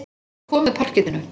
Þetta kom með parkettinu.